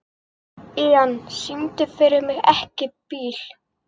Ían, syngdu fyrir mig „Ekki bíl“.